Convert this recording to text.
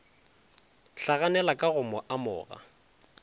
hlaganela ka go mo amoga